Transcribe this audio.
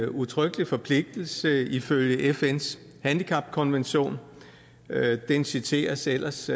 udtrykkelig forpligtelse ifølge fns handicapkonvention den citeres ellers